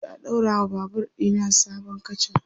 zanje a ɗaura wa Babur ɗina sabon katcha